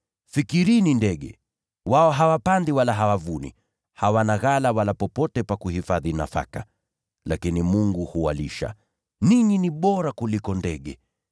Fikirini ndege! Wao hawapandi wala hawavuni, hawana ghala wala popote pa kuhifadhi nafaka; lakini Mungu huwalisha. Ninyi ni wa thamani zaidi kuliko ndege!